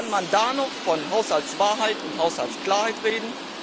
Kann man da noch von Haushaltswahrheit und Haushaltsklarheit reden?